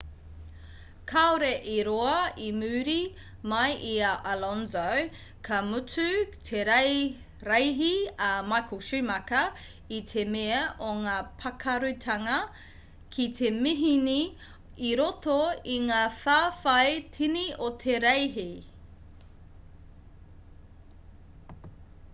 kaore i roa i muri mai i a alonso ka mutu te reihi a michael schumacher i te mea o ngā pakarūtanga ki te mihini i roto i ngā whawhai tini o te reihi